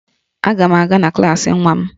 Aga m aga na klaasị nwa m